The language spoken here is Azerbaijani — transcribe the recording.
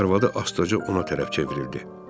Arvadı astaca ona tərəf çevrildi.